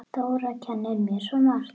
Dóra kenndi mér svo margt.